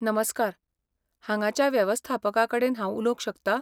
नमस्कार, हांगाच्या वेवस्थापकाकडेन हांव उलोवंक शकता?